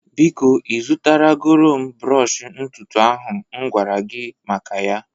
Biko ị zụtara goro m brọsh ntutu ahu m m gwara gị maka ya